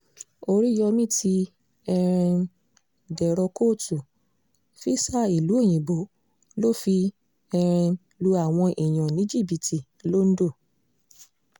oríyomi ti um dèrò kóòtù físà ìlú òyìnbó ló fi um lu àwọn èèyàn ní jìbìtì londo